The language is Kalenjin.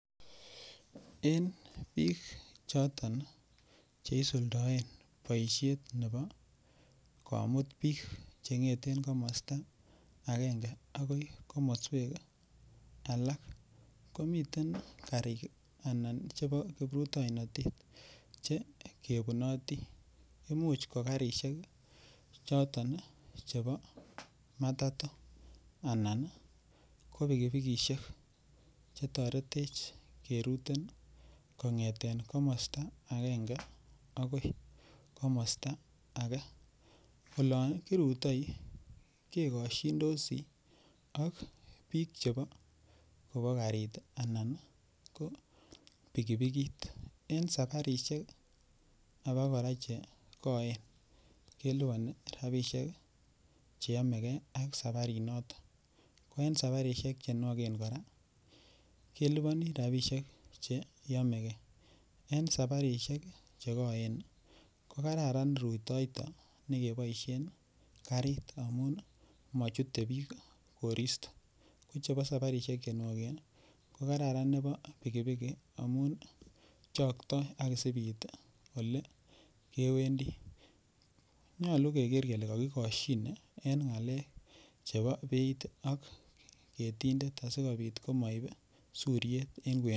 En biik choton cheisuldoen boishet nebo komut biik kongeten komosto akenge akoi komoswek alak komiten karik anan chebo kiprutoinotet che kebunoti, imuch ko karishek choton chebo matato anan ko bikibikishek chetoretech keruten kongeten komosto akenge akoi komosto akee, olon kirutoi kekoshindosi ak biik chebo karit anan ko pikipikit en saparishek abakora chekoen keliboni rabishek cheyomeke ak sabarinoton, ko en sabarishek chenwoken kora keliboni rabishek cheyomeke en sabarishek chekoen ko kararan rutoito nekeboishen karit amun mochute biik koristo, ko sabarishek chenwoken ko kararan nebo pikipiki amun chokto ak isiib iit olekewendi, nyolu keker kelee kokikoshine en ngalek chebo beit ak ketindet asikobit komoib suriet en kwenunyon.